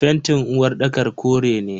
fentin uwarɗakar kore ne.